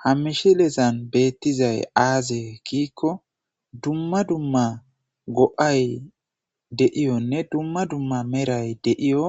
Ha mishilezan beettizay aaze giikko dumma dumma go77ay de7iyonne dumma dumma meray de7iyo